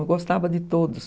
Eu gostava de todos.